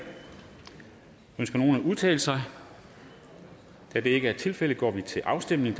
ønsker nogen at udtale sig da det ikke er tilfældet går vi til afstemning